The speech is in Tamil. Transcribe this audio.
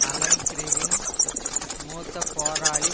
அலன் கிறிவின் மூத்த போராளி